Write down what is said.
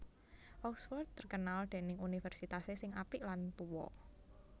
Oxford terkenal dening universitase sing apik lan tuo